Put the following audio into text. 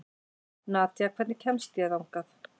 Nadja, hvernig kemst ég þangað?